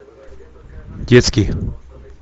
детский